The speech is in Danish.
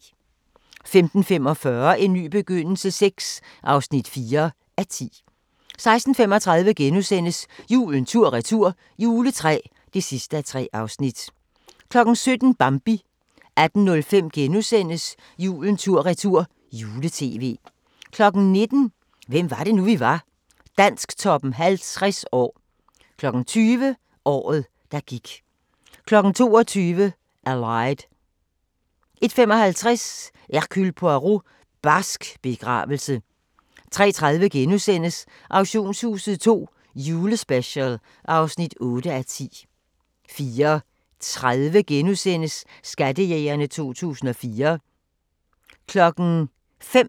15:45: En ny begyndelse VI (4:10) 16:35: Julen tur-retur – juletræ (3:3)* 17:00: Bambi 18:05: Julen tur-retur - jule-tv * 19:00: Hvem var det nu, vi var? – Dansktoppen 50 år 20:00: Året, der gik 22:00: Allied 01:55: Hercule Poirot: Barsk begravelse 03:30: Auktionshuset II - julespecial (8:10)* 04:30: Skattejægerne 2014 *